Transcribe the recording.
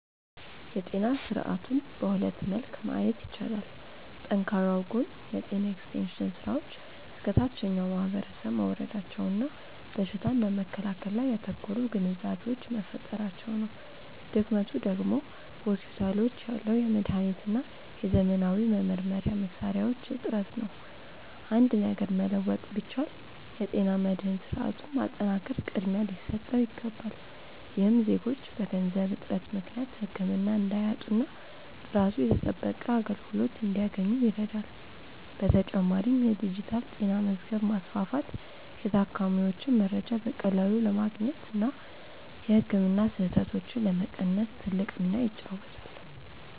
የጤና ስርዓቱን በሁለት መልክ ማየት ይቻላል። ጠንካራው ጎን የጤና ኤክስቴንሽን ስራዎች እስከ ታችኛው ማህበረሰብ መውረዳቸውና በሽታን በመከላከል ላይ ያተኮሩ ግንዛቤዎች መፈጠራቸው ነው። ድክመቱ ደግሞ በሆስፒታሎች ያለው የመድኃኒትና የዘመናዊ መመርመሪያ መሣሪያዎች እጥረት ነው። አንድ ነገር መለወጥ ቢቻል፣ የጤና መድህን ስርዓቱን ማጠናከር ቅድሚያ ሊሰጠው ይገባል። ይህም ዜጎች በገንዘብ እጥረት ምክንያት ህክምና እንዳያጡና ጥራቱ የተጠበቀ አገልግሎት እንዲያገኙ ይረዳል። በተጨማሪም የዲጂታል ጤና መዝገብ ማስፋፋት የታካሚዎችን መረጃ በቀላሉ ለማግኘትና የህክምና ስህተቶችን ለመቀነስ ትልቅ ሚና ይጫወታል።